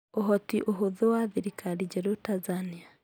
Ũhoti, ũhũthũ wa thirikari njerũ Tanzania